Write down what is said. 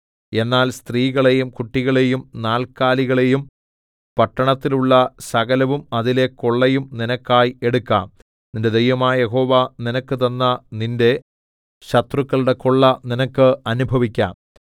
എന്നാൽ സ്ത്രീകളെയും കുട്ടികളെയും നാൽക്കാലികളെയും പട്ടണത്തിലുള്ള സകലവും അതിലെ കൊള്ളയും നിനക്കായി എടുക്കാം നിന്റെ ദൈവമായ യഹോവ നിനക്ക് തന്ന നിന്റെ ശത്രുക്കളുടെ കൊള്ള നിനക്ക് അനുഭവിക്കാം